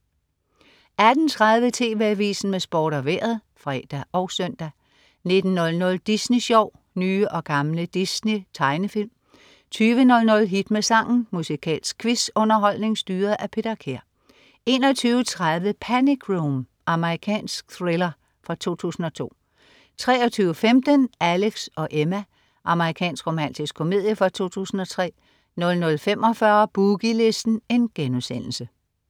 18.30 TV Avisen med Sport og Vejret (fre og søn) 19.00 Disney Sjov. Nye og gamle Disney-tegnefilm 20.00 Hit med sangen. Musikalsk quiz-underholdning styret af Peter Kær 21.30 Panic Room. Amerikansk thriller fra 2002 23.15 Alex & Emma. Amerikansk romantisk komedie fra 2003 00.45 Boogie Listen*